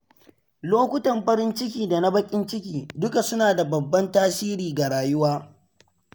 Lokutan farin ciki da na bakin ciki duka suna da babban tasiri ga rayuwa.